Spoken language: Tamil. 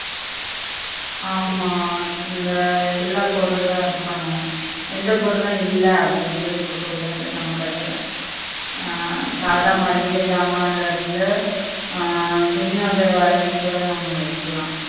ஆமா இந்த எல்லா பொருல்லாம் இருக்கணும் என்ன பொருள்லாம் இல்ல அப்படின்னு சொல்லி இருக்க கூடாது நம்ம கடைல ஆஹ் மல்லிக சாமான்ல இருந்து ஆஹ் துணிவக வரைக்கும் கூட நம்ம வெக்கலாம்